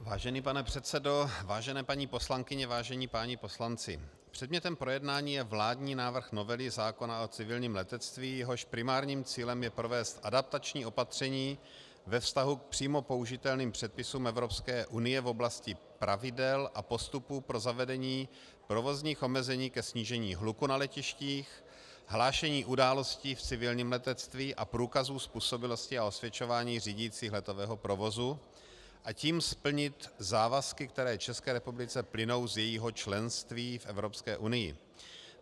Vážený pane předsedo, vážené paní poslankyně, vážení páni poslanci, předmětem projednání je vládní návrh novely zákona o civilním letectví, jehož primárním cílem je provést adaptační opatření ve vztahu k přímo použitelným předpisům Evropské unie v oblasti pravidel a postupů pro zavedení provozních omezení ke snížení hluku na letištích, hlášení událostí v civilním letectví a průkazů způsobilosti a osvědčování řídících letového provozu, a tím splnit závazky, které České republice plynou z jejího členství v Evropské unii.